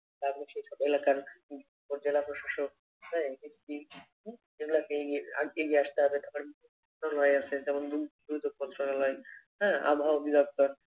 এলাকার জেলা প্রশাসক হ্যাঁ একটি এগুলাকে এগিয়ে এগিয়ে আসতে হবে হ্যাঁ আবহাওয়া অধিদপ্তর